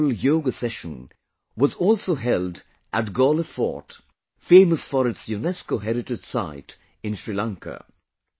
A memorable Yoga Session was also held at Galle Fort, famous for its UNESCO heritage site in Sri Lanka